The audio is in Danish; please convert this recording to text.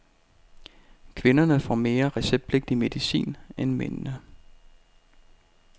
Kvinderne får mere receptpligtig medicin end mændene.